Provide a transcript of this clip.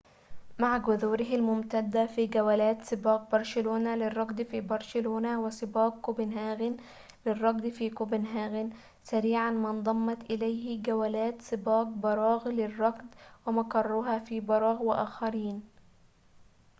مع جذوره الممتدة في جولات سباق برشلونة للركض في برشلونة وسباق كوبنهاغن للركض في كوبنهاغن سريعاً ما انضمت إليه جولات سباق براغ للركض ومقرها في براغ وآخرين